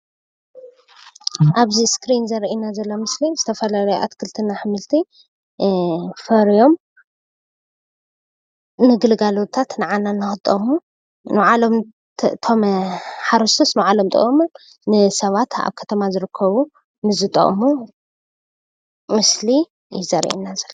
ኣብዚ ስክሪን ዘሪኤና ዘሎ ምስሊ ዝተፋላለዩ አትክልትን ኣሕምልትን ፈርዮም ንግልጋሎታት ንዓና ንክጠቅሙ ባዕሎም እቶም ሓሮስቶት ንባዕሎም ጠቂሞም ንሰባት ኣብ ከተማ ዝርከቡ ንዝጠቅሙ ምስሊ እዩ ዘሪኤና ዘሎ።